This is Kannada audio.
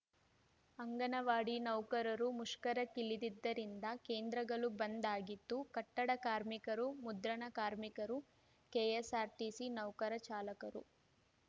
ಅಂಗನವಾಡಿ ನೌಕರರೂ ಮುಷ್ಕರಕ್ಕಿಳಿದಿದ್ದರಿಂದ ಕೇಂದ್ರಗಳು ಬಂದ್‌ ಆಗಿತ್ತು ಕಟ್ಟಡ ಕಾರ್ಮಿಕರು ಮುದ್ರಣ ಕಾರ್ಮಿಕರು ಕೆಎಸ್ಸಾರ್ಟಿಸಿ ನೌಕರಚಾಲಕರು